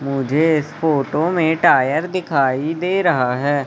मुझे इस फोटो में टायर दिखाई दे रहा है।